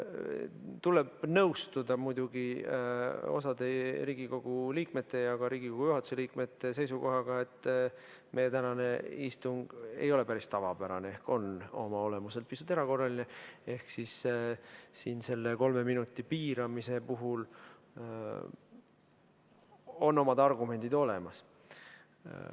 Tuleb muidugi nõustuda osa Riigikogu liikmete ja ka Riigikogu juhatuse liikmete seisukohaga, et meie tänane istung ei ole päris tavapärane, see on oma olemuselt pisut erakorraline ehk siin selle piiramise puhul on omad argumendid olemas.